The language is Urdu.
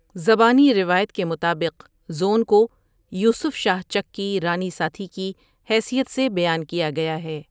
زبانی روایت کے مطابق زون کو یوسف شاہ چک کی رانی ساتھی کی حیثیت سے بیان کیا گیا ہے۔